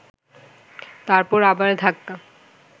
তারপর আবার ধাক্কা